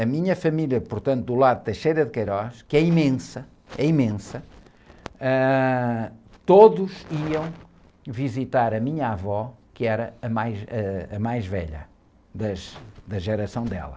a minha família, portanto, do lado da, que é imensa, é imensa, ãh, todos iam visitar a minha avó, que era a mais, ãh, a mais velha das, da geração dela.